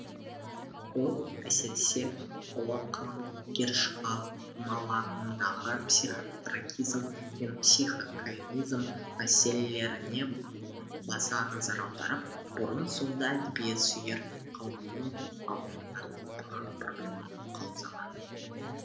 ол әсіресе ұлы қаламгер шығармаларындағы психотрагизм мен психокомизм мәселелеріне баса назар аударып бұрын соңды әдебиет сүйер қауымның алдына тартылмаған проблеманы қаузаған